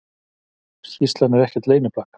Skýrslan ekkert leyniplagg